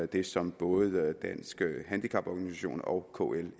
det som både danske handicaporganisationer og kl